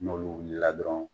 N'olu wuli la dɔrɔn